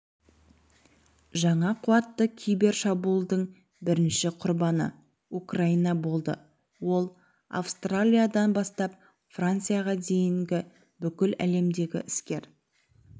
жаңа қуатты кибер шабуылдың бірінші құрбаны украина болды ол австралиядан бастап францияға дейінге бүкіл әлемдегі іскер